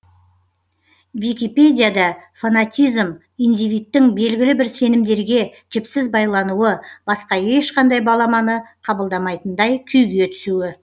википедияда фанатизм индивидтің белгілі бір сенімдерге жіпсіз байлануы басқа ешқандай баламаны қабылдамайтындай күйге түсуі